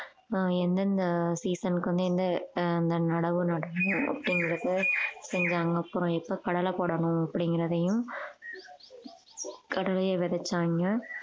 ஆஹ் எந்தெந்த season க்கு ஆஹ் அந்த நடவு நடனும் அப்படிங்கறதை செஞ்சாங்க அப்புறம் எப்ப கடலை போடணும் அப்படிங்கறதையும் கடலையை விதைச்சாங்க